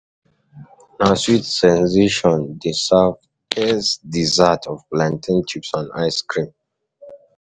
Na Sweet Sensation dey serve best dessert of plantain chips and ice cream.